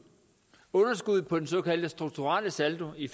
underskuddet på den såkaldt strukturelle saldo i